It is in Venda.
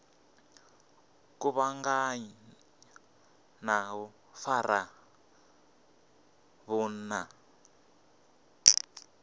kuvhanganya na u fara vhunna